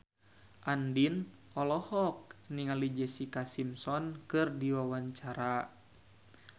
Andien olohok ningali Jessica Simpson keur diwawancara